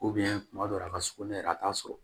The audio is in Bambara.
kuma dɔ la a ka sugunɛ yɛrɛ a t'a sɔrɔ